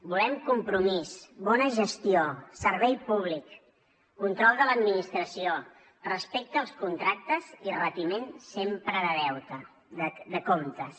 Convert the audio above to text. volem compromís bona gestió servei públic control de l’administració respecte als contractes i retiment sempre de comptes